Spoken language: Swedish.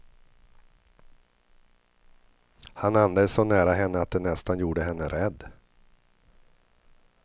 Han andades så nära henne att det nästan gjorde henne rädd.